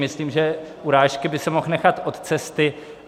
Myslím si, že urážky by si mohl nechat od cesty.